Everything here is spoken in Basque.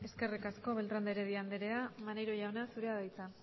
eskerrik asko beltrán de heredia anderea maneiro jauna zurea da hitza